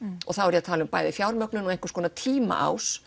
og þá er ég að tala bæði um fjármögnun og einhvers konar